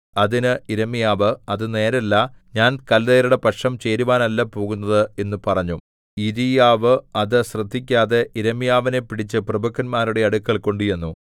അതിന് യിരെമ്യാവ് അത് നേരല്ല ഞാൻ കല്ദയരുടെ പക്ഷം ചേരുവാനല്ല പോകുന്നത് എന്ന് പറഞ്ഞു യിരീയാവ് അത് ശ്രദ്ധിക്കാതെ യിരെമ്യാവിനെ പിടിച്ച് പ്രഭുക്കന്മാരുടെ അടുക്കൽ കൊണ്ടുചെന്നു